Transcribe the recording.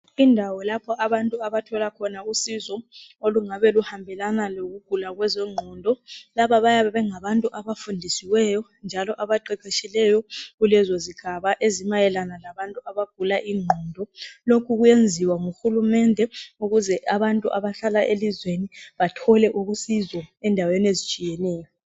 Indawo yalapho abantu abathola khona usizo ,kuyabe kuyindawo yabantu abagula ingqondo ,kuyabe kuyindawo yabantu abaqeqetshileyo lezigaba zabantu abagula inqondo lokhu kuyenziwa nguhulumende ukuze abantu abahlala elizweni bathole usizo endaweni ezitshiyeneyo.